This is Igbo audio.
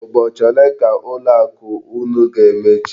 Ụbọchị ole ka ụlọ akụ unu ga-emechi?